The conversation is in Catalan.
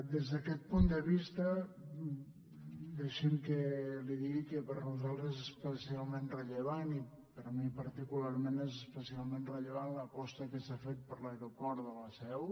des d’aquest punt de vista deixi’m que li digui que per nosaltres és especialment rellevant i per mi particularment és especialment rellevant l’aposta que s’ha fet per l’aeroport de la seu